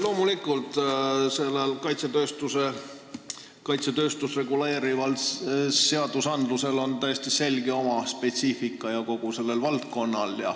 Loomulikult on kogu sellel valdkonnal ja kaitsetööstust reguleerivatel seadustel täiesti selge oma spetsiifika.